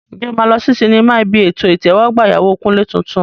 Ǹjẹ́ o máa lọ sí sinimá ibi ètò ìtẹ́wọ́gbà ìyàwó Kunle tuntun?